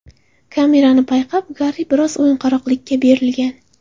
Kamerani payqab, Garri biroz o‘yinqaroqlikka berilgan.